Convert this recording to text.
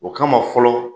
O kama fɔlɔ